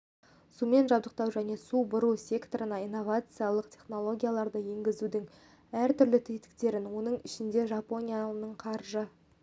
сумен жабдықтау және су бұру секторына инновациялық технологияларды енгізудің әртүрлі тетіктерін оның ішінде жапонияның қаржы